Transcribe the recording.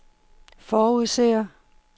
forudser